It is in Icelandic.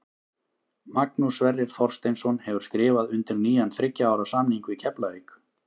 Magnús Sverrir Þorsteinsson hefur skrifað undir nýjan þriggja ára samning við Keflavík.